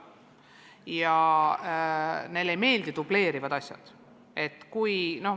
Ja neile ei meeldi dubleerivad kohustused.